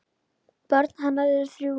Börn hennar eru þrjú.